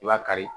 I b'a kari